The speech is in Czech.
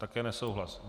Také nesouhlas.